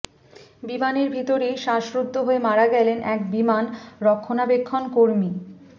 বিমানের ভিতরেই শ্বাসরুদ্ধ হয়ে মারা গেলেন এক বিমান রক্ষনাবেক্ষণ কর্মী